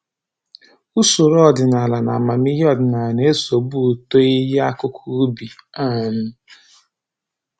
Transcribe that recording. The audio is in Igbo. Usoro ọdịnaala na amamihe ọdịnaala na-esogbu uto ihe akụkụ ubi um